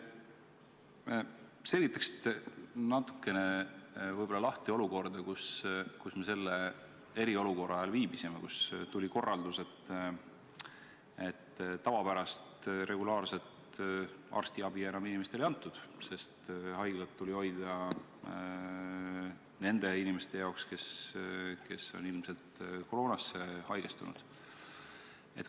Kas te selgitaksite natukene lahti olukorda, kus me selle eriolukorra ajal viibisime, kui tuli korraldus, et tavapärast regulaarset arstiabi enam inimestele ei anta, sest haiglad tuli hoida nende inimeste jaoks, kes on ilmselt koroonasse haigestunud?